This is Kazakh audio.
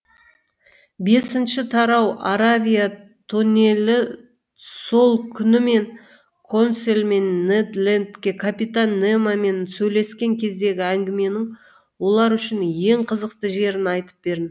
бесінші тарауаравия тоннелісол күні мен консель мен нед лендке капитан немомен сөйлескен кездегі әңгіменің олар үшін ең қызықты жерін айтып бердім